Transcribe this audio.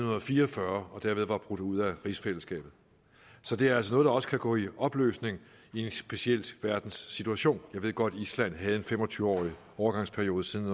fire og fyrre og derved var brudt ud af rigsfællesskabet så det er altså noget der også kan gå i opløsning i en speciel verdenssituation jeg ved godt at island havde en fem og tyve årig overgangsperiode siden